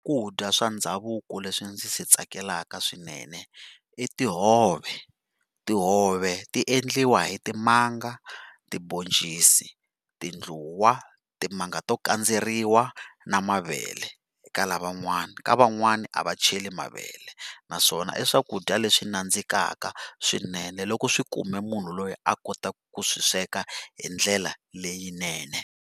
swa ndhavuko leswi ndzi swi tsakelaka swinene i tihove. Tihove ti endliwa hi timanga, tiboncisi, tindluwa, timanga to kandzeriwa na mavele eka lava n'wana, ka van'wani a va cheli mavele naswona i swakudya leswi nandzikaka swinene loko swi kume munhu loyi a kotaka ku swi sweka hi ndlela leyinene.